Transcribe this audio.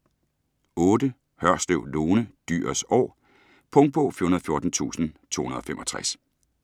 Hørslev, Lone: Dyrets år Punktbog 414265